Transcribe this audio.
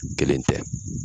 Kelen tɛ.